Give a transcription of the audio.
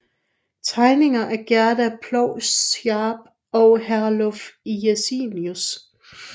Tegninger af Gerda Ploug Sarp og Herluf Jensenius